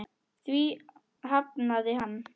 Því hafnaði hann.